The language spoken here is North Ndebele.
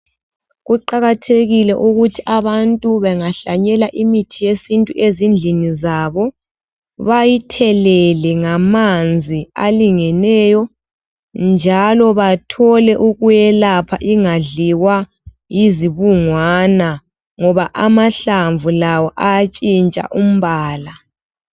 Kuqakathekile ukuthi abantu bengahlanyela imithi yesintu ezindlini zabo, bayithelele ngamanzi alingeneyo, njalo bathole ukuyelapha ingadliwa yizibungwana, ngoba amahlamvu lawo ayatshintsha umbala.